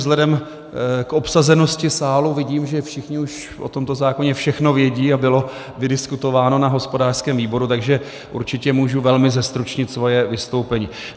Vzhledem k obsazenosti sálu vidím, že všichni už o tomto zákoně všechno vědí a bylo vydiskutováno na hospodářském výboru, takže určitě můžu velmi zestručnit svoje vystoupení.